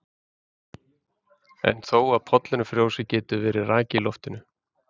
En þó að pollurinn frjósi getur verið raki í loftinu.